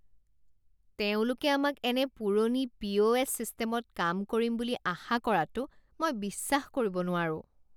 তেওঁলোকে আমাক এনে পুৰণি পিঅ'এছ ছিষ্টেমত কাম কৰিম বুলি আশা কৰাটো মই বিশ্বাস কৰিব নোৱাৰোঁ।